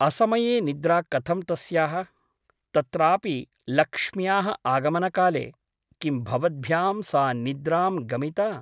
असमये निद्रा कथं तस्याः । तत्रापि लक्ष्म्याः आगमनकाले ! किं भवद्भ्यां सा निद्रां गमिता ?